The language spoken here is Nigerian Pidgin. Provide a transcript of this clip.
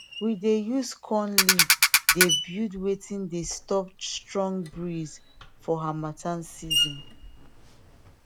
we dey use corn leave de build wetin de stop strong breeze for hamattan season